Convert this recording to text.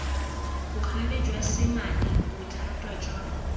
bogale jwa semane bothata jwa